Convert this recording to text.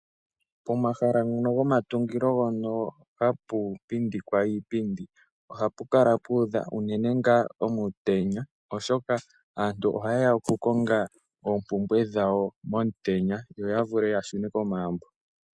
Pomahala ngoka gomatungilo mpono hapu pindikwa iipindi ohapu kala puudha unene ngaa omutenya. Oshoka aantu oha yeya oku konga oompumbwe dhawo omutenya yo ya vule yashune komagumbo.